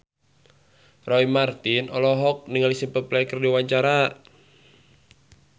Roy Marten olohok ningali Simple Plan keur diwawancara